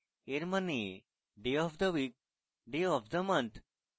এর means day of the week day of the month